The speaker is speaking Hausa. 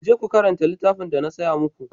Ku je ku karanta littafin da na saya mu ku!